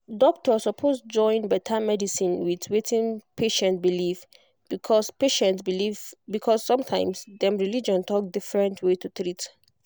doctor suppose join better medicine with wetin patient believe because patient believe because sometimes dem religion talk different way to treat